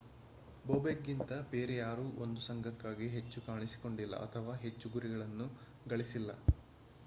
ಬೊಬೆಕ್ ಗಿಂತ ಬೇರೆ ಯಾರೊ 1 ಸoಘಕ್ಕಾಗಿ ಹೆಚ್ಚು ಕಾಣಿಸಿಕೊಂಡಿಲ್ಲ ಅಥವಾ ಹೆಚ್ಚು ಗುರಿಗಳುನ್ನು ಗಳಿಸಿಲ್ಲ